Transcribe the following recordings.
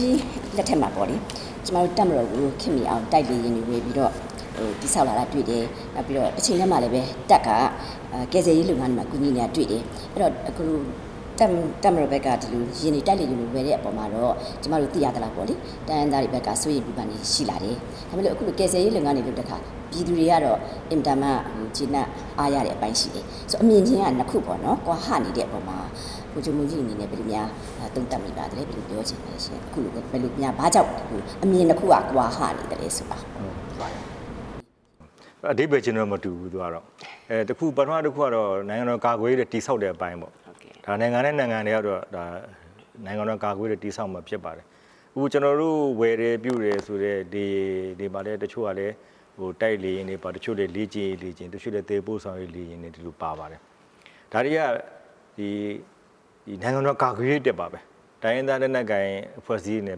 ကြီးလက်ထက်မှာ တပ်မတော်ကိုခေတ်မီအောင် တိုက်လေယာဉ်တွေဝယ်ပြီးတော့ တည်ဆောက် လာတာတွေ့တယ်။ တချိန်တည်းမှာပဲ တပ်က ကယ်ဆယ်ရေးလုပ်ငန်းတွေမှာ ကယ်ဆယ်နေတာတွေ့တယ်။ တပ်မတော်ဘက်က ဒီလိုတိုက်လေယာဉ်တွေဝယ်တဲ့အခါမှာ ကျတော် တို့သိရသလောက် တိုင်းရင်းသားတွေ ဘက်က စိုးရိမ်နေတာတွေရှိလာတယ်။နောက်ပြီးကယ်ဆယ်ရေးလုပ်ငန်းတွေလုပ်တဲ့အခါ ပြည်သူတွေကတော့ အန်မတန်မှ ကျေနပ်အားရတဲ့အပိုင်းရှိတယ်။ အမြင်ချင်းကနှစ်ခုပေါ့နော် ကွာဟနေတဲ့ပေါ်မှာ ဗိုလ်ချုပ်မှူးကြီးအနေနဲ့ ဘယ်လိုများသုံးသပ်မိပါသလဲ။ အဓိပ္ပာယ်ချင်းတော့မတူဘူး။ ပထမတစ်ခုက နိုင်ငံတော်ကာကွယ်ရေးနဲ့ တည်ဆောက်ရေးအပိုင်းပေါ့။ နိုင်ငံတိုင်းနိုင်ငံတိုင်းကတော့ နိုင်ငံတော်ကာကွယ်ရေး တည်ဆောက်ရမှာဖြစ်ပါတယ်။ ကျနော်တို့ဝယ်တယ်ပြုတယ်ဆိုတဲ့ လေယာဉ်တွေမှာလည်း တချို့ကတိုက်လေယာဉ်တွေပါတယ်။ တချို့က လည်းလေ့ကျင့်ရေးလေယာဉ်တွေပါတယ်။ တချို့လည်းသယ်ယူပို့ဆောင်ရေးလေယာဉ်တွေပါပါတယ်။ ဒါတွေက နိုင်ငံတော်ကာကွယ်ရေးအတွက်ပါပဲ။ တိုင်းရင်းသား လက်နက်ကိုင်အဖွဲ့အစည်းတွေနဲ့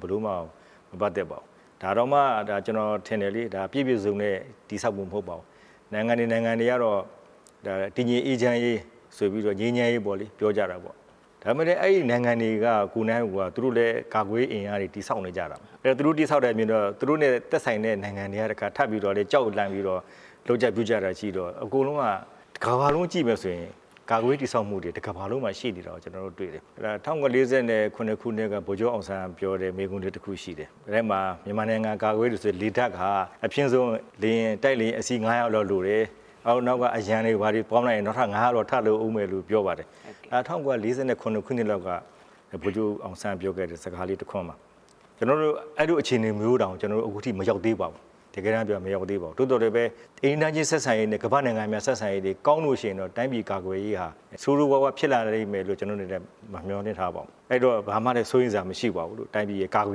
ဘယ်လိုမှ မပတ်သက်ပါဘူး။ ဒါတောင်မှ ကျနော်ထင်တယ်လေ ပြည့်ပြည့်စုံစုံနဲ့ တည်ဆောက်မှုမျိုး မဟုတ်ပါဘူး ။ နိုင်ငံတွေ နိုင်ငံတွေကတော့ တည်ငြိမ်အေးချမ်းရေဆိုပြီးတော့ ငြိမ်းချမ်းရေးပေါ့လေ ပြောကြတာပေါ့။ ဒါပေမဲ့ အဲ့ဒီနိုင်ငံတွေကိုယ်တိုင်က သူတို့လည်းကာကွယ်ရေးအင်အားတွေ တည်ဆောက်နေကြတာပေါ့။ သူတို့ တည်ဆောက်တာမြင်တော့ သူတို့နဲ့သက်ဆိုင်တဲ့နိုင်ငံတွေက ထပ်ပြီးကြောက်လန့်ပြီးတော့ လုပ်ကြပြုကြ တာရှိတော့ အဲ့ဒီတော့ တစ်ကမ္ဘာလုံးကြည့်မယ်ဆိုရင် ကာကွယ်ရေးတည်ဆောက်မှုတွေ တစ်ကမ္ဘာလုံးမှာရှိတာ ကျတော်တို့တွေ့မယ်။ ၁၉၄၇ ခုနှစ်က ဗိုလ်ချုပ်အောင်ဆန်းပြောတဲ့ မိန့်ခွန်းတစ်ခုရှိတယ်။ မြန်မာနိုင်ငံကာကွယ်ရေး လုပ်ငန်းမှာဆို လေတပ်က အဖျင်းဆုံးတိုက်လေယာဉ် အစီး ၅၀၀ လောက်လိုတယ်။ နောက်ကအရံတွေ ဘာတွေပါ ပေါင်းလိုက်ရင် နောက်ထပ် ၅၀၀ လောက်ထပ်လိုဦးမယ်လို့ ပြောပါတယ်။ ဒါ ၁၉၄၇ ခုနှစ်လောက်က ဗိုလ်ချုပ်အောင်ဆန်း ပြောခဲ့တဲ့စကားလေးတစ်ခွန်းပါ။ အဲ့လိုအခြေနေမျိုးတောင် ကျနော်တို့ အခုထိမရောက်သေး ပါဘူး။ တကယ်တန်းပြောရရင် မရောက်သေးပါဘူး။ သို့သော်လည်းပဲ အိမ်နီးနားချင်းဆက်ဆံရေးနဲ့ ကမာ့္ဘနိုင်ငံများ ဆက်ဆံရေးလေးကောင်းလို့ရှိရင်တော့ တိုင်းပြည်ကာကွယ်ရေးဟာ ဆိုးဆိုးရွားရွားဖြစ်လာလိမ့်မယ်လို့ ကျနော်တို့အနေနဲ့ မမျှော်လင့်ထားပါဘူး။ အဲ့ဒီတော့ ဘာမှလည်းစိုးရိမ်စရာမရှိပါဘူး။ တိုင်းပြည်ကာကွယ်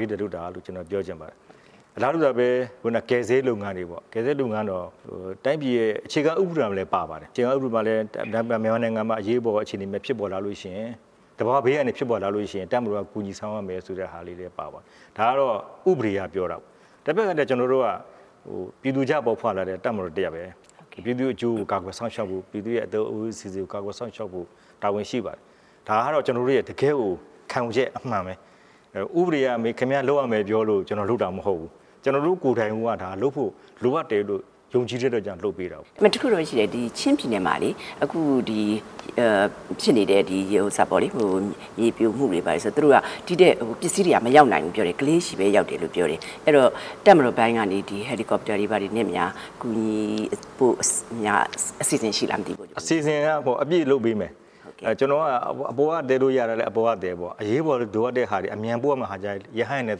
ရေးအတွက် လုပ်တာလို့ ကျနော်ပြောချင်ပါတယ်။ အလားတူပဲ ခုနက ကယ်ဆယ်ရေးလုပ်ငန်းတွေပေါ့ ကယ်ဆယ်ရေးလုပ်ငန်းက တိုင်းပြည်ရဲ့ အခြေခံဥပဒေမှာလည်းပါတယ်။ အခြေခံဥပဒေမှာ မြန်မာနိုင်ငံမှာ အရေးပေါ်အခြေအနေများဖြစ်ပေါ် လာလို့ရှိရင် သဘာဝဘေးအန္တရာယ်ဖြစ်ပေါ်လာလို့ရှိရင် တပ်မတော်က ကူညီဆောင်ရွက်ရမယ်ဆိုတာလည်း ပါဝင်တယ်။ ဒါက ဥပဒေအရပြောတာပေါ့လေ။ တဘက်ကလည်း ကျနော်တို့က ပြည်သူကြားပေါက်ဖွားလာတဲ့ တပ်မတော်တစ်ရပ်ပဲ။ ပြည်သူ့အကျိုးကို ကာကွယ်စောင့်ရှောက်ဖို့ ပြည်သူ့အသက် အိုးအိမ်စည်းစိမ်ကို ကာကွယ်စောင့်ရှောက်ဖို့ တာဝန်ရှိပါတယ်။ ဒါကတော့ ကျနော်တို့ရဲ့ တကယ့်ကို ခံယူချက်အမှန်ပဲ။ ဥပဒေက ခင်ဗျားလုပ်ရမယ်ပြောလို့ ကျနော်လုပ်တာမဟုတ်ဘူး။ ကျနော်တို့ကိုယ်တိုင်ကိုက ဒါလုပ်ဖို့လိုအပ်တယ်လို့ ယုံကြည်တဲ့အတွက်ကြောင့် ကျနော်လုပ်ပေးတာပေါ့။ ဒါပေမဲ့ တစ်ခုတော့ရှိတယ်။ ချင်းပြည်နယ်မှာလေ အခုဖြစ်နေတဲ့ မြေပြိုမှုတွေမှာလေ ပစ္စည်းတွေက မရောက်လာဘူးလို့ပြောတယ်။ ကလေးဆီပဲရောက်တယ်လို့ပြောတယ်။ အဲ့တော့တပ်မတော်ပိုင်းကနေ ဟယ်ရီကော်ပတာတွေနဲ့များ ကူညီဖို့အစီစဉ်ရှိလားမသိဘူး။ အစီစဉ်က အပြည့်လုပ်ပေးမယ်။ အပေါ်က သယ်လို့ရတာလည်း အပေါ်ကသယ်ပေါ့။ အရေးပေါ်လိုအပ်တဲ့ဟာတွေဆိုရင်တော့ အမြန်ပို့ရမယ့်ဟာကျရင်တော့ ရဟတ်ယာဉ်နဲ့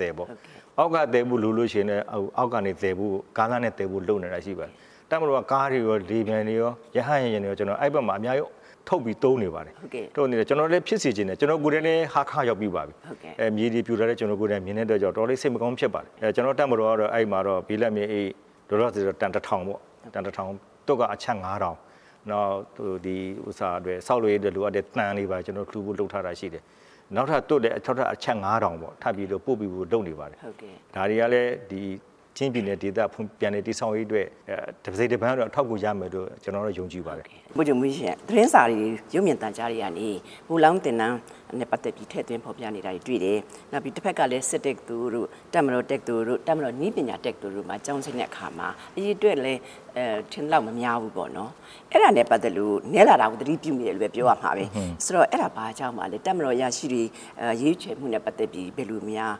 သယ်ပေါ့။ အောက်ကသယ်ရမယ်ဆိုလည်း ကားလမ်းနဲ့သယ်ဖို့ လုပ်နေတာတွေရှိပါတယ်။ တပ်မတော်က ကားတွေရော လေယာဉ်တွေရော ရဟတ်ယာဉ်တွေရော အဲ့ဒီဘက်မှာ အများကြီးထုတ်ပြီးသုံးနေပါတယ်။ ကျနော်လည်းဖြစ်စေချင်တယ်။ ကျနော်ကိုယ်တိုင်လည်း ဟားခါးရောက်ပြီးပါပြီ မြေတွေပြိုတာကို ကျနော်ကိုယ်တိုင်မြင်ခဲ့တဲ့အတွက် တော်တော်လေး စိတ်မကောင်းဖြစ်မိပါတယ်။ ကျနော်တို့ တပ်မတော်ကတော့ အဲ့မှာတော့ လောလောဆယ်တော့ ဘိလပ်မြေအိတ် တန်တစ်ထောင်ပေါ့။ သွပ်က အချပ် ငါးထောင်ပေါ့။ နောက်ဆောက်လုပ်ရေးအတွက် လိုအပ်တဲ့ သံတွေပါလှူဖို့ လုပ်ထားတာရှိတယ်။ နောက်ထပ်လည်း သွပ်အချပ် ငါးထောင်ကို ပို့ပေးဖို့လုပ်နေပါတယ်။ ဒါတွေကလည်း ချင်းပြည်နယ်ဒေသ ပြန်လည်တည်ဆောက်ရေးအတွက် တစိတ်တပိုင်းကတော့ အထောက်အကူရမယ်လို့ ကျနော်ယုံကြည်ပါတယ်။ ဗိုလ်ချုပ်မှူးကြီးရှင့်။ သတင်းစာတွေ ရုပ်မြင်သံကြားတွေကနေ ဗိုလ်လောင်းသင်တန်းနဲ့ ပတ်သက်ပြီး ထည့်သွင်းဖော်ပြနေတာတွေ တွေ့ရတယ်။ တဘက်ကလည်း စစ်တက္ကသိုလ်တို့ တပ်မတော်တက္ကသိုလ်တို့ တပ်မတော်နည်းပညာတက္ကသိုလ်တို့မှာ ကျောင်းဆင်းတဲ့အခါ အရေအတွက်လည်း ထင်သလောက် မများဘူးပေါ့နော်။ အဲ့ဒါနဲ့ပတ်သက်လို့ နည်းလာတာကို သတိပြုရမိတဲ့အတွက်ပြောရမှာပဲ။ အဲ့တာ ဘာကြောင့်ပါလဲ။ တပ်မတော်အရာရှိတွေ ရွေးချယ်မှုနဲ့ ပတ်သက်ပြီး ဘယ်လိုများ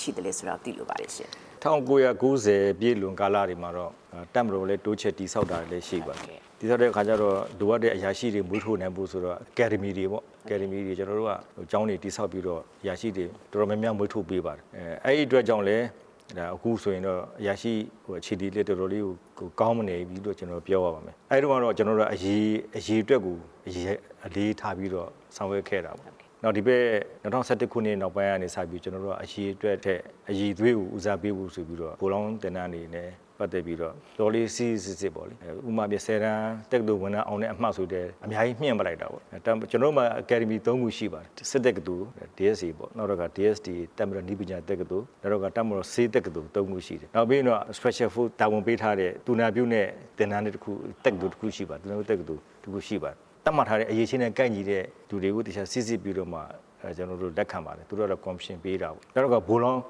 ရှိသလဲဆိုတာ သိလိုပါတယ်။ ၁၉၉၀ ပြည့်လွန်ကာလတွေမှာတော့ တပ်မတော်လည်း တိုးချဲ့တည်ဆောက်တာတွေရှိတယ်။ တည်ဆောက်တဲ့အခါမှာ လိုအပ်တဲ့ အရာရှိတွေမွေးထုတ်နိုင်ဖို့ဆိုတော့ အကယ်ဒမီတွေပေါ့ အကယ်ဒမီကျောင်းတွေ တည်ဆောက်ပြီးတော့ အရာရှိတွေ တော်တော်များများ မွေးထုတ်ပေး ပါတယ်။ အဲ့ဒီအတွက်ကြောင့်လည်း အခုဆိုရင်တော့ အရာရှိအခြေအနေလည်း တော်တော်လေးကို ကောင်းနေပြီ လို့ ကျနော်ပြောရမယ်။ အဲ့ဒီတုန်းက ကျနော်တို့က အရေအတွက်ကို အလေးထားပြီး ဆောင်ရွက်ခဲ့တာပေါ့၊ ဒီဘက် ၂၀၁၁ ခုနှစ် နောက်ပိုင်းကျတော့ အရေအတွက်ထက် အရည်အသွေးကို ဦးစားပေးဖို့ဆိုပြီးတော့ ဗိုလ်လောင်းသင်တန်းတွေနဲ့ ပတ်သက်ပြီး တော်တော်လေး စေ့စေ့စပ်စပ်ပေါ့ ဥပမာ တက္ကသိုလ်ဝင်တန်း ၁ဝ တန်းအောင်တဲ့အမှတ်ဆိုလည်း အများကြီးမြှင့်လိုက်တယ်။ ကျနော်တို့မှာ အကယ်ဒမီ ၃ ခုရှိပါတယ်။ စစ်တက္ကသိုလ် DSA ပေါ့။ နောက်တစ်ခါ DSTA တပ်မတော် နည်းပညာတက္ကသိုလ်၊ နောက်တစ်ခုက တပ်မတော်ဆေးတက္ကသိုလ် သုံးခုရှိတယ်။ နောက်ပြီးရင်တော့ Special Force တာဝန်ပေးထားတဲ့ သူနာပြုတက္ကသိုလ်တစ်ခုရှိပါတယ်။ သတ်မှတ်ထားတဲ့ အရည်အချင်းနဲ့ ကိုက်ညီတဲ့ သူတွေကို သေချာစိစစ်ပြီးတော့မှာ ကျနော်တို့လက်ခံပါတယ်။ သူတို့က ကော်မရှင်ပေးတာပေါ့။ နောက်တစ်ခါ ဗိုလ်လောင်း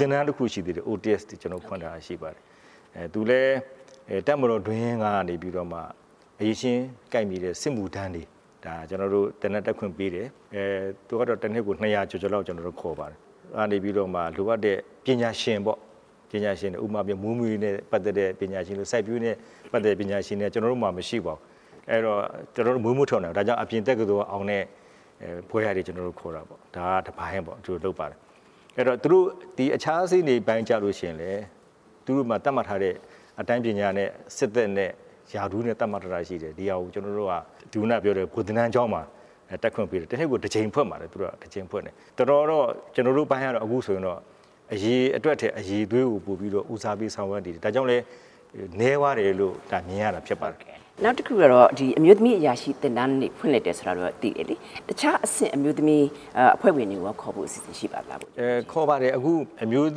သင်တန်း OTS တွေ ကျနော်တို့ဖွင့်ထားတာရှိပါတယ်။ သူလည်း တပ်မတော်တွင်းကနေပြီးတော့မှ အရည်ချင်းကိုက်ညီတဲ့ စစ်မှုထမ်းတွေကို ကျနော်တို့ သင်တန်းတက်ခွင့်ပေးတယ်။ သူကတော့တစ်နှစ်ကို နှစ်ရာကျော်ကျော်လောက်ခေါ်ပါတယ်။ အဲ့ဒီကမှ လိုအပ်တဲ့ပညာရှင်ပေါ့။ ဥပမာ မွေးမြူရေးနဲ့ ပတ်သက်တဲ့ ပညာရှင်ပေါ့ စိုက်ပျိုးရေးနဲ့ ပတ်သက်တဲ့ ပညာရှင်တွေ ကျနော်တို့မှာ မရှိပါဘူး။ကျနော်တို့ မွေးမထုတ်နိုင်ပါဘူး။ အဲ့ဒါကြောင့် အပြင်တက္ကသိုလ်ကအောင်တဲ့ ဘွဲ့ရတွေ ကျနော်တို့ခေါ်တာပေါ့။ ဒါကလည်း တစ်ပိုင်းလုပ်တာပေါ့။အခြားအဆင့်ပိုင်းတွေကျတော့လည်း သူတို့ဆီမှာ သတ်မှတ်ထားတဲ့ အတန်းပညာနဲ့ စစ်သက်နဲ့ ရာထူးနဲ့ သတ်မှတ်ထားတာရှိတယ်။ ဒီဟာကို ကျနော်တို့ က ခုနကပြောတဲ့ ဗိုလ်သင်တန်းကျောင်းမှာ တက်ခွင့်ပေးတယ်။တစ်နှစ်ကို တစ်ကြိမ်ဖွင့်ပါတယ်။ ကျနေ်ာတို့အပိုင်းက အခုဆိုရင် အရေအတွက်ထက် အရည်အသွေးကို ဦးစားပေးဆောင်ရွက်နေတယ်။ ဒါကြောင့်လည်း နည်းသွားတယ်လို့ မြင်ရတာဖြစ်ပါတယ်။ ဟုတ်ကဲ့။ နောက်တစ်ခုကတော့ အမျိုးသမီးအရာရှိသင်တန်းတွေ ဖွင့်တယ်ဆိုတော့သိတယ်လေ။ တခြားအဆင့် အမျိုးသမီးအဖွဲ့ဝင်တွေကိုရော ခေါ်ဖို့အစီစဉ်ရှိပါလား။ ခေါ်ပါတယ်။ အခု အမျိုးသ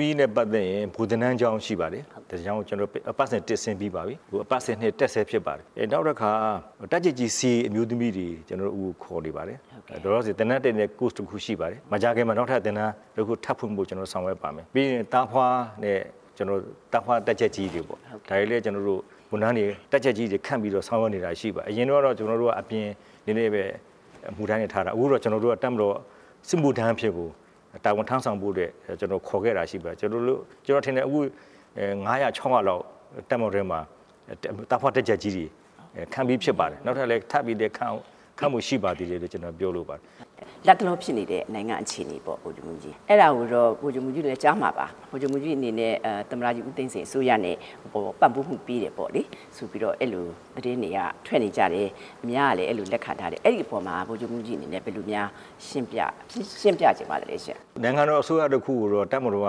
မီးနဲ့ ပတ်သက်ရင် ဗိုလ်သင်တန်းကျောင်းရှိပါတယ်။ အပတ်စဉ် ၁ ဆင်း ပြီးပါပြီ။ အပတ်စဉ် ၂ တက်ဆဲဖြစ်ပါတယ်။ နောက်တခါ တပ်ကြပ်ကြီးစာရင်းအမျိုးသမီးတွေ ကျနော်တို့ခေါ်ပါတယ်။ လောလောဆယ်သင်တန်းတက်နေတဲ့ Course တစ်ခုရှိပါတယ်။ မကြာခင်မှာ နောက်ထပ်သင်တန်းတစ်ခု ထပ်ဖွင့်ဖို့ဆောင်ရွက်ပါမယ်။ ပြီးရင်သားဖွားတပ်ကြပ်ကြီးတွေပေါ့။ တပ်ကြပ်ကြီးတွေခန့်ပြီး ဆောင်ရွက်နေတာတွေရှိပါတယ်။ အရင်ကတော့ ကျနော်တို့က အပြင်အမှုထမ်းအနေနဲ့ပဲ ထားတာပေါ့။ အခုက တပ်မတော်စစ်မှုထမ်းအဖြစ်ကို တာဝဝန်ထမ်းဆောင်ဖို့အတွက် ခေါ်ခဲ့တာရှိပါတယ်။ ကျနော်ထင်တယ် အခု ငါးရာ ခြောက်ရာလောက် တပ်မတော်ထဲမှာ သားဖွားတပ်ကြပ်ကြီးတွေ ခန့်ပြီးဖြစ်ပါတယ်။ နောက်ထပ်လည်း ခန့်ဖို့ရှိပါသေးတယ်လို့ ကျနော်ပြောလိုပါတယ်။ လက်တလောဖြစ်နေတဲ့ နိုင်ငံအခြေအနေပေါ့။ အဲ့ဒါတော့ ဗိုလ်ချုပ်မှူးကြီးလည်းကြားမှာပါ။ ဗိုလ်ချုပ်မှူးကြီးအနေနဲ့ သမ္မတ ဦးသိန်းစိန်အစိုးရနဲ့ ပံ့ပိုးမှုပေးတယ်ပေါ့လေ။ အဲ့လိုသတင်းတွေထွက်တယ်။ အများကလည်းအဲ့လိုလက်ခံထားတယ်။ အဲ့အပေါ်မှာ ဗိုလ်ချုပ်မှူးကြီးအနေနဲ့ ဘယ်လိုများရှင်းပြချင်ပါသလဲရှင့်။ နိုင်ငံတော်အစိုးရတစ်ခုကို တပ်မတော်က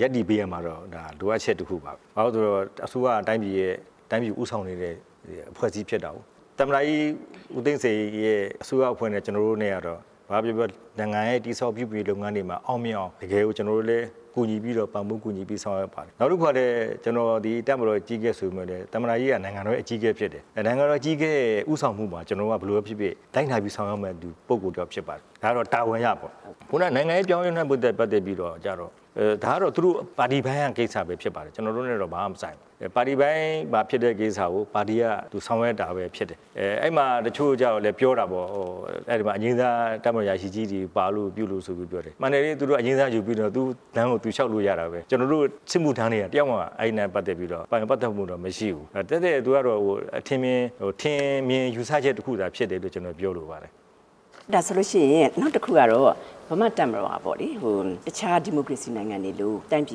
ရပ်တည်ပေးရမယ်ဆိုတာတော့ လိုအပ်ချက်တစ်ခုပါ။ ဘာဖြစ်လို့လဲဆိုရင် အစိုးရက တိုင်းပြည်ဦးဆောင်နေတဲ့ အဖွဲ့အစည်းဖြစ်တာကိုး။ သမ္မတကြီးဦးသိန်းစိန်ရဲ့ အစိုးရအဖွဲ့နဲ့ ကျနော်တို့နဲ့ကတော့ ဘာပဲပြောပြော နိုင်ငံရဲ့တည်ဆောက်မှု လုပ်ငန်းတွေမှာ အောင်မြင်အောင် တကယ်ကိုလည်း ကျနော်တို့က ပံ့ပိုးကူညီပြီး ဆောင်ရွက်ပါတယ်။ နောက်တစ်ခု ကလည်း ကျနော်သည် တပ်မတော်ရဲ့ အကြီးအကဲဆိုပေမယ့်လည်း သမ္မတကြီးက နိုင်ငံတော်ရဲ့ အကြီးအကဲဖြစ် တယ်။ နိုင်ငံတော်အကြီးအကဲရဲ့ ဦးဆောင်မှုကို ကျနော်တို့က ဘာပဲဖြစ်ဖြစ်လိုက်နာပြီး ဆောင်ရွက်ရမယ့် ပုဂ္ဂိုလ်တစ်ယောက်ဖြစ်ပါတယ်။ ဒါက တာဝန်အရပေါ့။ ခုနက နိုင်ငံရေးပြောင်းလဲတာနဲ့ ပတ်သက်ပြီး ဒါကတော့ သူတို့ပါတီပိုင်းရဲ့ကိစ္စပဲဖြစ်ပါတယ်။ ကျနော်တို့နဲ့တော့ ဘာမှမဆိုင်ပါဘူး။ ပါတီထဲပိုင်းမှာဖြစ်တဲ့ကိစ္စကို ပါတီကဆောင်ရွက်တာပဲဖြစ်တယ်။ အဲ့မှာ တချို့ကျတော့လည်းပြောတာပေါ့နော်။ အဲ့မှာအငြိမ်းစား တပ်မတော်အရာရှိကြီးတွေ ပါလို့ပြုလို့ဆိုပြီးပြောတယ်။ မှန်တယ်လေ သူတို့က အငြိမ်းစားယူပြီးတော့ သူ့လမ်းကိုသူလျှောက်လို့ရတာပဲ။ ကျနော်တို့ စစ်မှုထမ်းတွေကျတော့ တစ်ယောက်မှ အဲ့လမ်းမှာပါဝင်ပတ်သက်ခွင့်မရှိဘူး။ သက်သက်ထင်မြင်ယူဆချက်တစ်ခုသာဖြစ်တယ်လို့ ကျနော်ပြောလိုပါတယ်။ ဒါဆိုလို့ရှိရင် နောက်တစ်ခုက ဗမာ့တပ်မတော်ကလေ တခြားဒီမိုကရေစီနိုင်ငံတွေလို တိုင်းပြ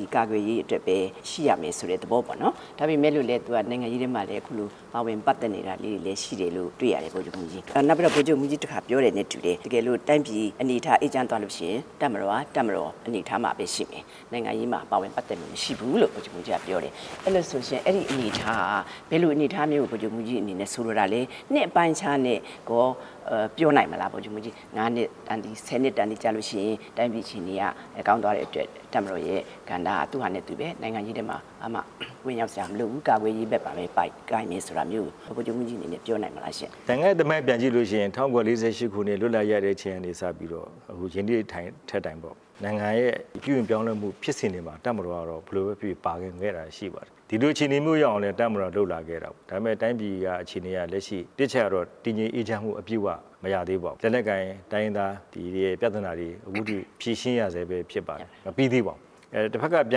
ည်ကာကွယ်ရေးအတွက်ပဲရှိရမယ်ဆိုတဲ့ သဘောပေါ့နော်။ ဒါပေမဲ့ သူကလည်းနိုင်ငံရေးထဲမှာ အခုလို ပါဝင်ပတ်သက်နေတာလေးတွေ ရှိတယ်လို့တွေ့ရတယ်။ နောက်ပြီးတော့ ဗိုလ်ချုပ်မှူးကြီး တခါပြောတယ်နဲ့တူတယ်။ တိုင်းပြည်အနေအထား အေးချမ်းသွားလို့ရှိရင် တပ်မတော်က တပ်မတော် အနေအထားမှာပဲရှိမယ်။နိုင်ငံရေးမှာ ပါဝင်ပတ်သက်ခွင့်မရှိဘူးလို့ ဗိုလ်ချုပ်မှူးကြီးကပြောတယ်။ အဲ့လိုဆိုရင် အဲ့ဒီအနေအထားက ဘယ်လိုအနေအထားမျိုးကို ဗိုလ်ချုပ်မှူးကြီးအနေနဲ့ ဆိုလိုတာလဲ။ နှစ်အပိုင်းအခြားနဲ့ရော ပြောနိုင်ပါသလား။ ၅နှစ်တန်တယ်။ ၁၀နှစ်တန်တယ်ကျလို့ရှိရင် တိုင်းပြည်အခြေအနေက ကောင်းသွားတဲ့အတွက် တပ်မတော်ရဲ့ ကဏ္ဍကသူ့ဟာနဲ့သူပဲ။ နိုင်ငံရေးထဲမှာ ဘာမှဝင်ရောက်စရာမလိုဘူး။ ကာကွယ်ရေးဘက်မှာပဲ ကိုင်မယ်ဆိုတာမျိုးကို ဗိုလ်ချုပ်မှူးကြီးအနေနဲ့ ပြောနိုင်မလားရှင့်။ နိုင်ငံရဲ့သမိုင်းပြန်ကြည့်လို့ရှိရင် ၁၉၄၈ ခုနှစ် လွတ်လပ်ရေးရတဲ့ အချိန်ကနေ စပြီးတော့ ယနေ့ထက်တိုင် နိုင်ငံရဲ့ပြုပြင်ပြောင်းလဲမှုဖြစ်စဉ်တွေမှာ တပ်မတော်က ဘယ်လိုပဲဖြစ်ဖြစ်ပါဝင် ခဲ့တာရှိပါတယ်။ ဒီလိုအခြေအနေမျိုးရောက်အောင်လည်း တပ်မတော်က လုပ်လာခဲ့တာပေါ့။ ဒါပေမဲ့ တိုင်းပြည် အခြေအနေက လက်ရှိ တစ်အချက်ကတော့ တည်ငြိမ်အေးချမ်းရေး လုံးဝမရသေးပါဘူး။ လက်နက်ကိုင် တိုင်းရင်းသားတွေရဲ့ ပြဿနာ အခုထိဖြေရှင်းရဆဲပဲ ဖြစ်ပါတယ်။ မပြီးသေးပါဘူး။တဘက်ကပြ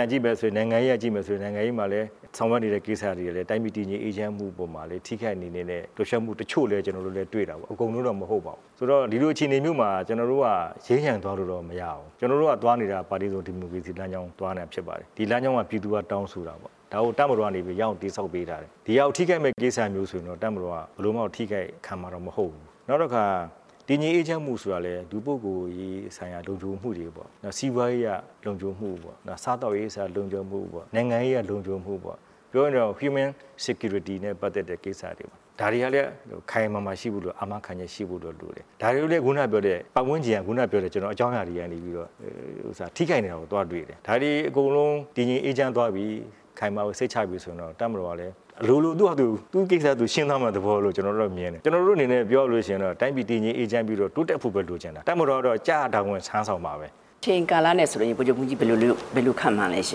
န်ကြည့်မယ် ဆိုရင် နိုင်ငံရေးအရကြည့်မယ်ဆိုရင် နိုင်ငံရေးမှာ ဆောင်ရွက်နေတဲ့ကိစ္စတွေကလည်း တိုင်းပြည်အေးချမ်းမှု အပေါ်မှာလည်း ထိခိုက်စေနိုင်တဲ့ လှုပ်ရှားမှုတချို့လည်း ကျနော်တို့တွေ့တာပေါ့။ အကုန်လုံးတော့မဟုတ်ဘူး။ ဒီလိုအခြေအနေမျိုးမှာ ကျနော်တို့က ယိမ်းယိုင်သွားလို့တော့မရဘူး။ ကျနော်တို့သွားနေတာက ပါတီစုံဒီမိုကရေစီ လမ်းကြောင်းသွားနေတာဖြစ်ပါတယ်။ ဒီလမ်းကြောင်းကို ပြည်သူကတောင်းဆိုတာပေါ့။ ဒါကိုတပ်မတော်ကနေ ရအောင်တည်ဆောက်ပေးထားတယ်။ ဒီဟာကိုထိခိုက်မယ့်ကိစ္စဆိုရင်တော့ တပ်မတော်က ဘယ်လိုမှထိခိုက် ခံမှာတော့မဟုတ်ဘူး။ နောက်တခါ တည်ငြိမ်အေးချမ်းမှုဆိုတာလည်း လူပုဂ္ဂိိုလ်ရေးဆိုင်ရာလုံခြုံမှုတွေ၊ စီးပွားရေးအရလုံခြုံမှု၊ စားသောက်ရေးဆိုင်ရာလုံခြုံမှု၊ နိုင်ငံရေးဆိုင်ရာလုံခြုံမှုပေါ့။ ပြောရင်တော့ Human Security နဲ့ပတ်သက်တဲ့ကိစ္စရပ်တွေပေါ့။ ဒါတွေကလည်း ခိုင်ခိုင်မာမာဖြစ်ဖို့ အာမခံချက်ရှိဖို့တော့လိုတယ်။ ဒါတွေကိုလည်း ခုနကပြောတဲ့ ပတ်ဝန်းကျင်က ခုနက ကျနော်ပြောတဲ့ အကြောင်းအရာတွေကနေပြီးတော့ ထိခိုက်နေတာကို သွားတွေ့တယ်။ ဒါတွေအကုန်လုံး တည်ငြိမ်အေးချမ်းသွားပြီ ခိုင်မာအေးချမ်းသွားပြီဆိုရင်တော့ တပ်မတော်ကလည်း အလိုလို သူ့ဘာသာသူ့ကိစ္စသူ ရှင်းသွားမယ့်သဘောလို့ ကျနော်တို့ကမြင်တယ်။ ကျနော်တို့က တိုင်းပြည်တည် ငြိမ်အေးချမ်းပြီးတော့ တိုးတက်ဖို့ပဲလိုချင်တယ်။ တပ်မတော်က ကျရာတာဝန် ထမ်းဆောင်မှာပဲ။ အချိန်ကာလနဲ့ဆိုရင် ဗိုလ်ချုပ်မှူးကြီ းဘယ်လိုခန့်မှန်းလဲရှ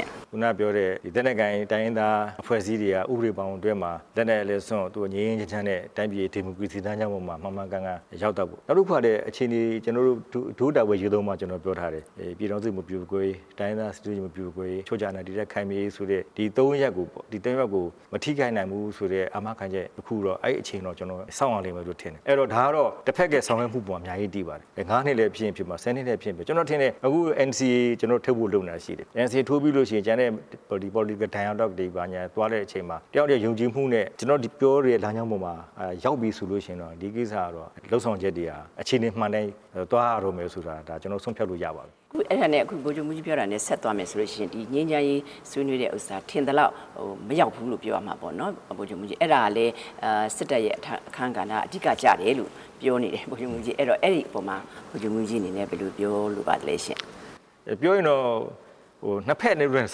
င့်။ ခုနကပြောတဲ့ လက်နက်ကိုင်တိုင်းရင်းသားအဖွဲ့အစည်းတွေက ဥပဒေဘောင်အတွင်းမှာ လက်နက်လည်းစွန့် ငြိမ်းငြိမ်းချမ်းချမ်းနဲ့ တိုင်းပြည်ရဲ့ ဒီမိုကရေစီလမ်းကြောင်းပေါ်မှာ မှန်မှန်ကန်ကန်ရောက်သွားဖို့။ နောက်တစ်ခုကလည်း အခြေနေ ဒို့တာဝန်အရေးသုံးပါးကို ကျနော်တို့ပြောထားတယ်။ ပြည်ထောင်စုမပြိုကွဲရေး၊ တိုင်းရင်းသားစည်းလုံးညီညွတ်မှု မပြိုကွဲရေး၊ အချုပ်အခြာအာဏာ တည်တံ့ခိုင်မြဲရေး ဒီသုံးရပ်ကိုပေါ့။ ဒီသုံးရပ်ကိုမထိခိုက်နိုင်ဘူးဆိုတဲ့ အာမခံချက်တစ်ခု အဲ့အချိန်တော့ ကျနော်တို့စောင့်ရမယ်ထင်တယ်။ ဒါကတော့ တဘက်ရဲ့ဆောင်ရွက်မှုအပေါ် အများကြီးမူတည်ပါတယ်။ ငါးနှစ်လည်းဖြစ်ရင်ဖြစ်မယ်။ ဆယ်နှစ်လည်းဖြစ်ရင်ဖြစ်မယ်။ ကျနော်ထင်တယ် အခု ကျနော်တို့ NCA ထိုးဖို့လုပ်နေတာရှိတယ်။ ထိုးပြီးရင် ကျန်တဲ့ Political Dialogue တွေ သွားတဲ့အချိန်မှာ တစ်ယောက်တစ်ယောက် ယုံကြည်မှုနဲ့ ကျနော်တို့ ဒီပြောနေတဲ့ လမ်းကြောင်းပေါ်မှာရောက်ပြီဆိုရင် ဒီလုပ်ဆာင်ချက်တွေဟာ အခြေနေမှန်နဲ့သွားရတော့မယ်ဆိုတာ ကျနော်တို့ ဆုံးဖြတ်လို့ရပါပြီ။ အဲ့ဒါနဲ့ ဗိုလ်ချုပ်မှူးကြီးပြောတာနဲ့ ဆက်သွားမယ်ဆိုလို့ရှိရင် ဒီငြိမ်းချမ်းရေးဆွေးနွေးတဲ့ဥစ္စာက ထင်သလောက်မရောက်ဘူးလို့ ပြောရမှာပေါ့နော်။ အဲ့ဒါကလည်း စစ်တပ်ရဲ့အခန်းကဏ္ဍက အဓိကကျတယ်လို့ ပြောနေကြတယ်။ အဲ့ဒီအပေါ်မှာ ဗိုလ်ချုပ်မှူးကြီးအနေနဲ့ ဘယ်လိုပြောလိုပါသလဲ ။ ပြောရင်တော့ နှစ်ဘက်လုံးနဲ့